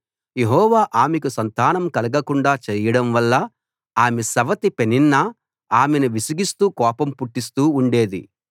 యెహోవా ఆమెకు సంతానం కలగకుండా చేయడంవల్ల ఆమె సవతి పెనిన్నా ఆమెను విసిగిస్తూ కోపం పుట్టిస్తూ ఉండేది